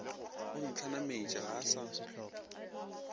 o ntlhanametše ga a sa